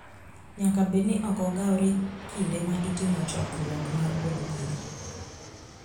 Nyaka bed ni ok ogawore kinde ma itimo chokruok mar od bura